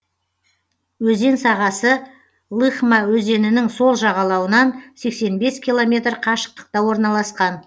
өзен сағасы лыхма өзенінің сол жағалауынан сексен бес километр қашықтықта орналасқан